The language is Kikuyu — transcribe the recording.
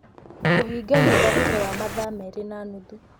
kũhinga nyũmba thutha wa mathaa merĩ na nuthu